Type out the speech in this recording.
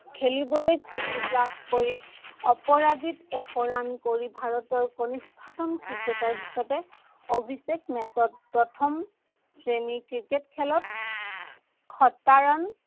খেলিবলৈ সুযোগ লাভ কৰি অপৰাজিত এশ run কৰি ভাৰতৰ কণিষ্ঠতম ক্ৰিকেটাৰ হিচাপে অভিষেক match ত প্ৰথম শ্ৰেণীৰ ক্ৰিকেট খেলত, শত run